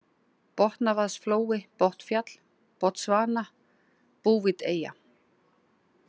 Botnavaðsflói, Botnfjall, Botsvana, Bouveteyja